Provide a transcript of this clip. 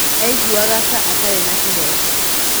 Aiguaga ta atarĩ na kĩhooto".